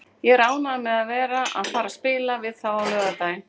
Ég er ánægður með að vera að fara að spila við þá á laugardaginn.